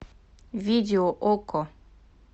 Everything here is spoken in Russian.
видео окко